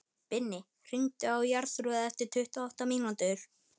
Binni, hringdu í Jarþrúði eftir tuttugu og átta mínútur.